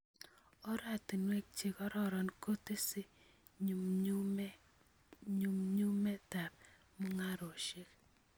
Oratinwek chegororon kotese nyumnyumindab mungarosiek.